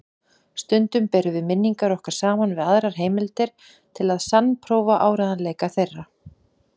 Stundum berum við minningar okkar saman við aðrar heimildir til að sannprófa áreiðanleika þeirra.